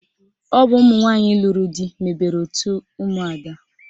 Ọ bụ ụmụnwanyị lụrụ di mebere otu ụmụada